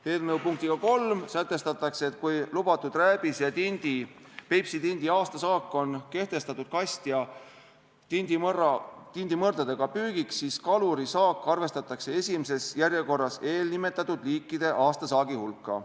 Eelnõu punktiga 3 sätestatakse, et kui lubatud rääbise ja Peipsi tindi aastasaak on kehtestatud kast- ja tindimõrdadega püügiks, siis kaluri saak arvestatakse esimeses järjekorras eelnimetatud liikide aastasaagi hulka.